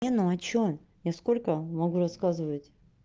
не ну а что я сколько могу рассказывать